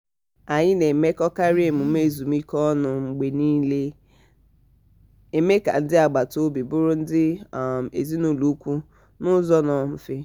anyi na-emekọkarị emume ezumike ọnụ mgbe niilena-eme ka ndi agbata obi bụrụ ndị um ezinụ̀lọ̀ ùkwù n' ụzọ nnọọ mfe.